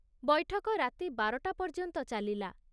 ବୈଠକ ରାତି ବାରଟା ପର୍ଯ୍ୟନ୍ତ ଚାଲିଲା।